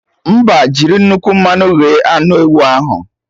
Mba, jiri nnukwu mmanụ ghe anụ ewu ahụ